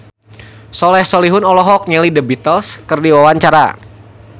Soleh Solihun olohok ningali The Beatles keur diwawancara